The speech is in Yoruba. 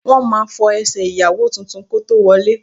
Wọ́n máa fọ ẹsẹ̀ ìyàwó tuntun kó tó wọlé